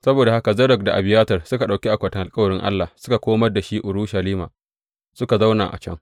Saboda haka Zadok da Abiyatar suka ɗauki akwatin alkawarin Allah suka komar da shi Urushalima, suka zauna a can.